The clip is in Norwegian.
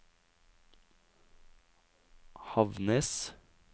Havnnes